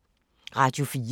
Radio 4